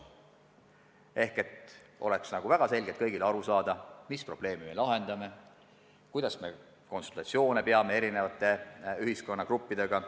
Kõigile peab olema väga selgelt arusaadav, mis probleemi me lahendame, kuidas me konsulteerime eri ühiskonnagruppidega.